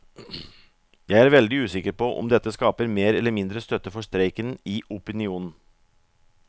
Jeg er veldig usikker på om dette skaper mer eller mindre støtte for streiken i opinionen.